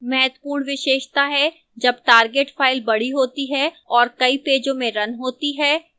महत्वपूर्ण विशेषता है जब target file बड़ी होती है और कई पेजों में रन होती है